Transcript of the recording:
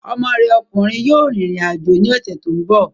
Ọmọ rẹ ọkùnrin yóò rìn rìn àjò ní ọ̀sẹ̀ tó ń bọ̀